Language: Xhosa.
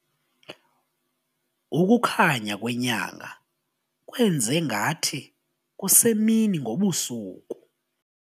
Ukukhanya kwenyanga kwenze ngathi kusemini ngobu busuku.